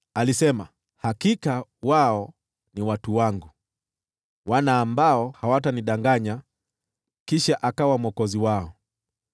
Alisema, “Hakika wao ni watu wangu, wana ambao hawatanidanganya”; hivyo akawa Mwokozi wao.